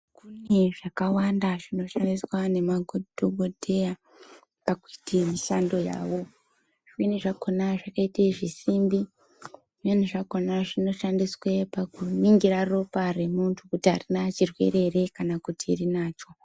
Kune zvakawanda zvinoshandiswa nemadhokodheya pakuite mishando yawo zvimweni zvakona zvakaite zvisimbi zvimweni zvakona zvinoshandiswe pakuningira ropa remuntu kuti arina chirwere here kana kuti rinacho.